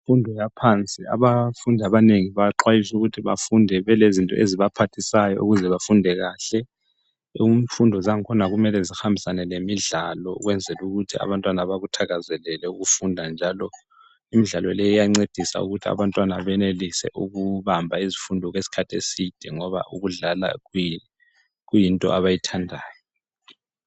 Imfundo yaphansi abafundi abanengi bayaxwayiswa ukuthi mele afunde belezinto ezibaphathisayo ukuze bafunde kahle imfundo zangkhona kumele zihambisane lemidlalo ukwenzela ukuthi abantwana bakuthakazelele ukufunda njalo imidlalo leyi iyancedisa ukuthi abantwana benelise ukuhamba izifundo okwesikhathi eside ngoba ukudlala kuyinto abayithandayo